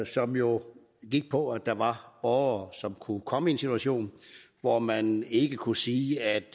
som jo gik på at der var borgere som kunne komme i en situation hvor man ikke kunne sige at